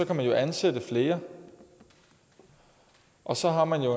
kan man jo ansætte flere og så har man jo